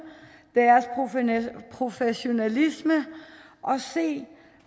deres professionalisme og se